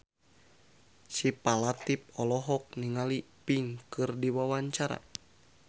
Syifa Latief olohok ningali Pink keur diwawancara